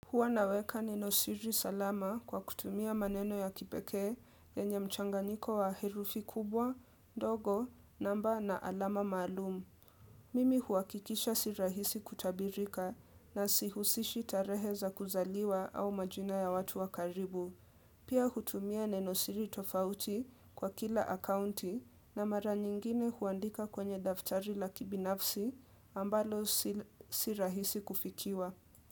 Huwa naweka nenosiri salama kwa kutumia maneno ya kipekee yenye mchanganyiko wa herufi kubwa, ndogo, namba na alama maalum. Mimi huhakikisha si rahisi kutabirika na sihusishi tarehe za kuzaliwa au majina ya watu wa karibu. Pia hutumia nenosiri tofauti kwa kila akaunti na mara nyingine huandika kwenye daftari la kibinafsi ambalo si rahisi kufikiwa.